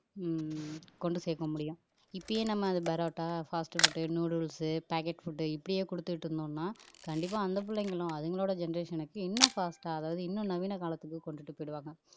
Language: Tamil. உம் கொண்டு சேர்க்க முடியும் இப்பயே நம்ம அதை parotta fast food noodles packet food இப்படியே கொடுத்துட்டு இருந்தோம்ன்னா கண்டிப்பா அந்த பிள்ளைங்களும் அதுங்களோட generation க்கு இன்னும் fast ஆ அதாவது இன்னும் நவீன காலத்துக்கு கொண்டுட்டு போயிடுவாங்க